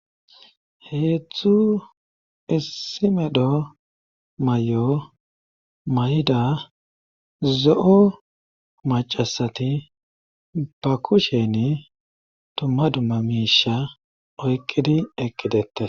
heetztzu issi medho may7o mayida zo7o macasati ba kusheni tumma dumma miisha oykqidi eqqidette